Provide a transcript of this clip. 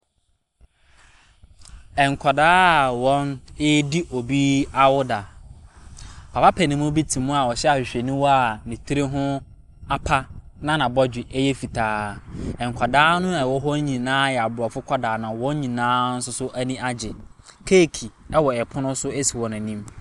Nkwadaa a wɔredi awoda. Papa panin bi te mu a ɔhyɛ ahwehwɛniwa a ne tiri ho apa na n'abɔdwe yɛ fitaa. Nkwadaa a ɛwɔ hɔ nyinaa yɛ Abrɔfo nkwadaa na wɔn nyinaa nso ani agye. Keeki wɔ pono so si wɔn anim.